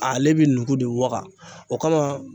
Ale bɛ nugu de waga o kama